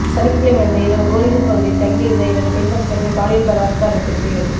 சனிக்கிழயன்று இரவு கோரிகுண்ட் பகுதியில் தங்கியிருந்த இரண்டு பெண்பக்தர்கள் பாலியல் பலாத்காரத்திற்கு